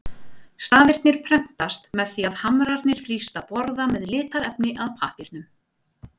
Stafirnir prentast með því að hamrarnir þrýsta borða með litarefni að pappírnum.